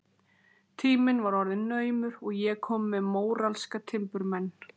Tíminn var orðinn naumur og ég komin með móralska timburmenn.